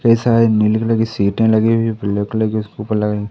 पैसा है नीले कलर की सीटे लगी हुई है उपर--